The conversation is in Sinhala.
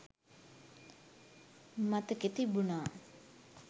මතකෙ තිබුණා.